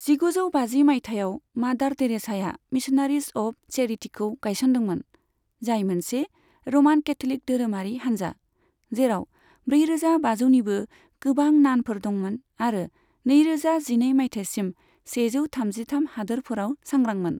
जिगुजौ बाजि मायथाइयाव, मादार टेरेसाया मिशनारिज अफ चेरिटीखौ गायसनदोंमोन, जाय मोनसे र'मान केथ'लिक धोरोमारि हानजा, जेराव ब्रैरोजा बाजौनिबो गोबां नानफोर दंमोन आरो नैरोजा जिनै मायथाइसिम सेजौ थामजिथाम हादोरफोराव सांग्रांमोन।